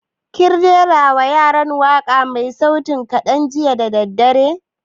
Kin rera wa yaran waƙa mai sauti kaɗan jiya da daddare?